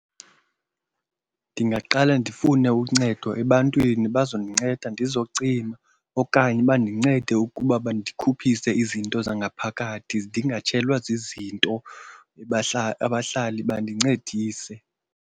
Ndingaqale ndifune uncedo ebantwini bazondinceda ndizocima okanye bandincede ukuba bandikhuphise izinto zangaphakathi ndingatshelwa zizinto, abahlali bandincedise.